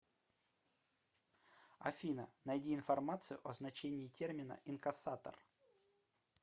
афина найди информацию о значении термина инкассатор